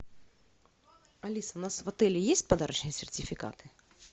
алиса у нас в отеле есть подарочные сертификаты